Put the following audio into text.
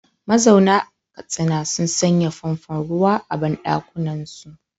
Mazauna Katsina sun sanya famfon ruwa a banɗakunansu.